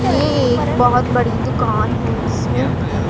ये एक बहोत बड़ी दुकान है जिसमें की--